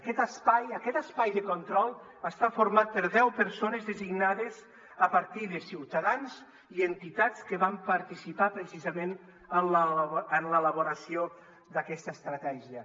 aquest espai aquest espai de control està format per deu persones designades a partir de ciutadans i entitats que van participar precisament en l’elaboració d’aquesta estratègia